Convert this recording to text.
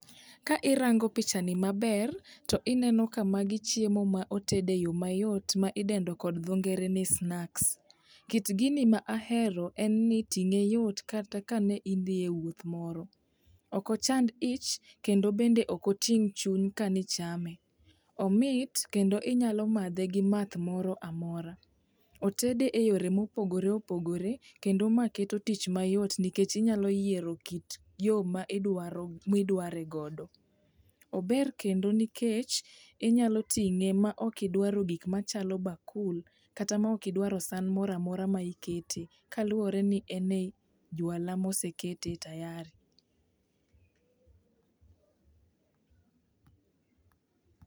Ka irango picha ni maber ineno ka magi chiemo moted e yoo mayot midendo kod dho ngere ni snacks. Kit gini ma ahero en ni ting'e yot kata ka ne idhi e wuoth moro. Ok ochand ich kendo bende ok oting' chuny kani chame, omit kendo inyalo madhe gi math moramora otede e yore mopogore opogore kendo ma keto tich mayot nikech inyalo yiero kit yoo ma idwaro ma idware godo .Ober kendo nikech inyalo ting'e ma ok idwaro gik machalo bakul kata ma ok idwaro san moramora ma ikete kaluwopre ni en e jwala mosekete tayari